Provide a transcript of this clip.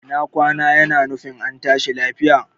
Ina kwana yana nufin ka tashi lafiya